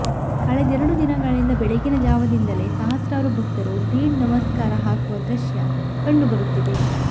ಕಳೆದೆರೆಡು ದಿನಗಳಿಂದ ಬೆಳಗಿನ ಜಾವದಿಂದಲೇ ಸಹಸ್ರಾರು ಭಕ್ತರು ದೀಡ್ ನಮಸ್ಕಾರ ಹಾಕುವ ದೃಶ್ಯ ಕಂಡು ಬರುತ್ತಿದೆ